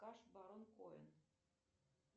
саша барон коэн